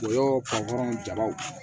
O yɔrɔ jabaw